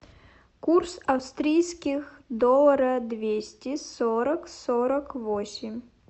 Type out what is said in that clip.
курс австрийских доллара двести сорок сорок восемь